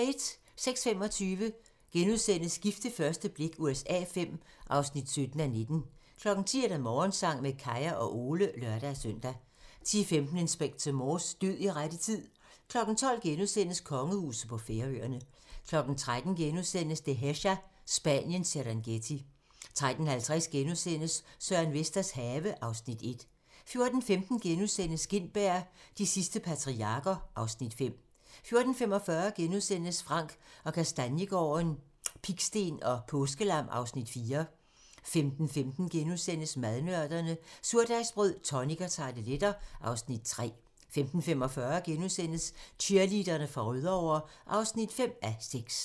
06:25: Gift ved første blik USA V (17:19)* 10:00: Morgensang med Kaya og Ole (lør-søn) 10:15: Inspector Morse: Død i rette tid 12:00: Kongehuset på Færøerne * 13:00: Dehesa - Spaniens Serengeti * 13:50: Søren Vesters have (Afs. 1)* 14:15: Gintberg - De sidste patriarker (Afs. 5)* 14:45: Frank & Kastaniegaarden - Pigsten og påskelam (Afs. 4)* 15:15: Madnørderne - Surdejsbrød, tonic og tarteletter (Afs. 3)* 15:45: Cheerleaderne fra Rødovre (5:6)*